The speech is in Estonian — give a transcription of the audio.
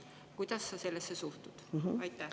Kuidas sa sellesse suhtud?